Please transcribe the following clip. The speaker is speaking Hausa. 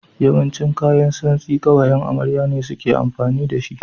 Yawancin kayan tsamsti ƙawayan amarya ne suke amfani da shi.